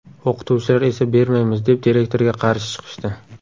O‘qituvchilar esa bermaymiz, deb direktorga qarshi chiqishdi.